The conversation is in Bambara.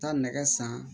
Taa nɛgɛ san